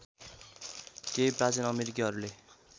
केही प्राचीन अमेरिकीहरूले